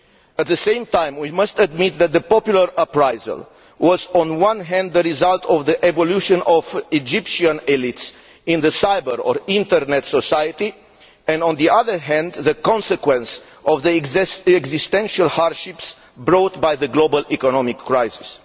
At the same time, we must admit that the popular uprising was on one hand the result of the evolution of Egyptian elites in the cyber or Internet society, and on the other hand the consequence of the existential hardships brought on by the global economic crisis.